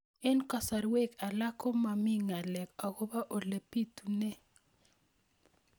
Eng' kasarwek alak ko mami ng'alek akopo ole pitunee